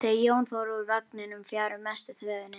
Þau Jón fóru úr vagninum fjarri mestu þvögunni.